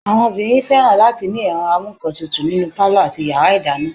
Àwọn obìnrin fẹ́ràn láti ní ẹ̀rọ amúǹkantutù nínú pálọ̀ àti yàrá ìdáná